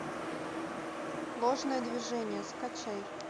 ложное движение скачай